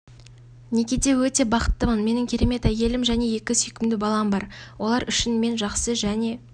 некеде өте бақыттымын менің керемет әйелім және екі сүйкімді балам бар олар үшін мен жақсы және